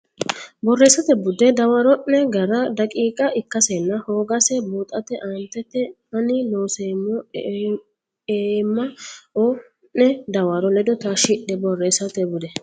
Borreessate Bude dawaro ne gara daqiiqa ikkasenna hoogase buuxate aantete ani Loonseemmo eemma o ne dawaro ledo taashshidhe Borreessate Bude.